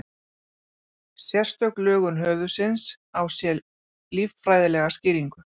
Sérstök lögun höfuðsins á sér líffræðilega skýringu.